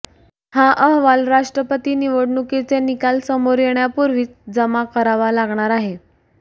हा अहवाल राष्ट्रपती निवडणुकीचे निकाल समोर येण्यापूर्वीच जमा करावा लागणार आहे